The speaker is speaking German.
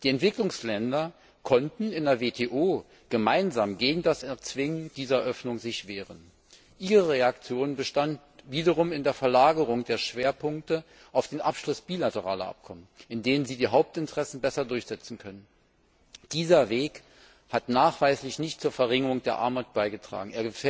Die Entwicklungsländer konnten sich in der WTO gemeinsam gegen das Erzwingen dieser Öffnung wehren. Ihre Reaktion bestand wiederum in der Verlagerung der Schwerpunkte auf den Abschluss bilateraler Abkommen, in denen Sie Ihre Hauptinteressen besser durchsetzen können. Dieser Weg hat nachweislich nicht zur Verringerung der Armut beigetragen.